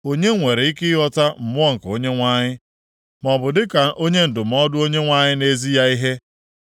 Onye nwere ike ịghọta Mmụọ nke Onyenwe anyị, maọbụ dịka onye ndụmọdụ Onyenwe anyị na-ezi ya ihe?